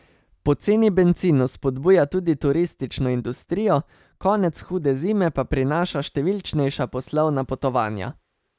Poceni bencin vzpodbuja tudi turistično industrijo, konec hude zime pa prinaša številčnejša poslovna potovanja.